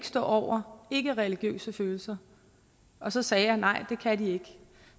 stå over ikkereligiøse følelser og så sagde jeg nej det kan de ikke